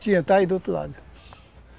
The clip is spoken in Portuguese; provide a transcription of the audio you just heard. Tinha, está aí do outro lado.